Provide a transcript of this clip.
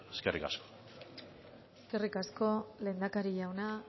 eskerrik asko eskerrik asko lehendakari jauna